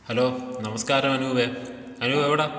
Hello നമസ്കാരം അനൂപേ, അനൂപ് എവിടാ.